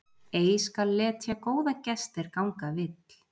Ei skal letja góðan gest er ganga vill.